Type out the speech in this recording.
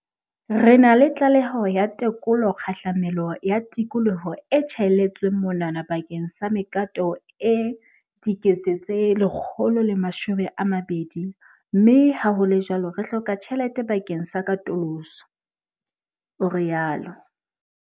"Re na le tlaleho ya tekolo kgahlamelo ya tikoloho e tjhaelletsweng monwana bakeng sa mekato e 120 000 mme ha ho le jwalo re hloka tjhelete bakeng sa katoloso," o rialo.